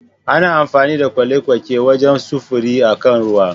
Ana amfani da kwale-kwake wajen sufuri a kan ruwa